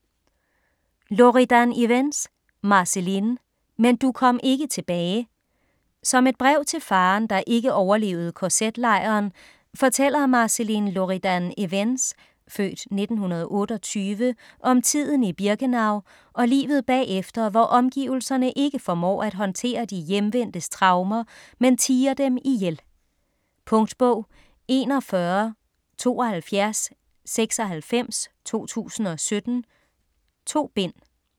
Loridan-Ivens, Marceline: Men du kom ikke tilbage Som et brev til faderen, der ikke overlevede kz-lejren, fortæller Marceline Loridan-Ivens (f. 1928) om tiden i Birkenau og livet bagefter, hvor omgivelserne ikke formår at håndtere de hjemvendtes traumer, men tier dem ihjel. Punktbog 417296 2017. 2 bind.